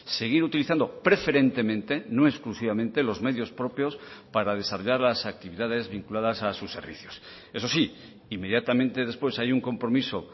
seguir utilizando preferentemente no exclusivamente los medios propios para desarrollar las actividades vinculadas a sus servicios eso sí inmediatamente después hay un compromiso